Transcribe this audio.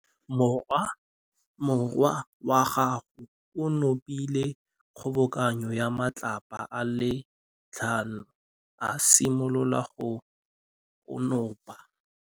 Morwa wa gagwe o nopile kgobokanô ya matlapa a le tlhano, a simolola go konopa.